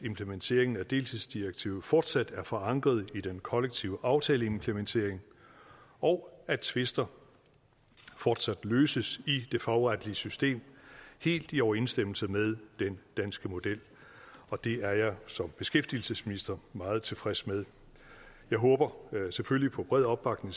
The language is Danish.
implementeringen af deltidsdirektivet fortsat er forankret i den kollektive aftaleimplementering og at tvister fortsat løses i det fagretlige system helt i overensstemmelse med den danske model det er jeg som beskæftigelsesminister meget tilfreds med jeg håber selvfølgelig på bred opbakning